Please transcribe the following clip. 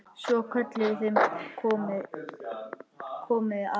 Svo kölluðu þeir: Komiði aðeins!